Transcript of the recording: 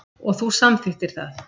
Og þú samþykktir það.